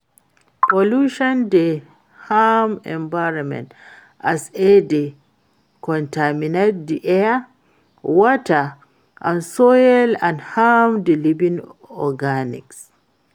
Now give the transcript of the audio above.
pollution dey harm environment as e dey contaminate di air, water and soil and harm di living organisms.